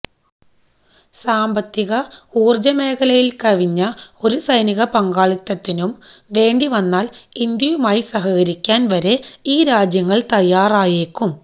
സാമ്പത്തിക ഊര്ജ മേഖലകളില് കവിഞ്ഞ ഒരു സൈനിക പങ്കാളിത്തത്തിനും വേണ്ടി വന്നാല് ഇന്ത്യയുമായി സഹകരിക്കാന് വരെ ഈ രാജ്യങ്ങള് തയ്യാറായേക്കും